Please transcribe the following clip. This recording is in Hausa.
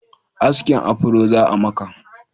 Askin afro za'a maka?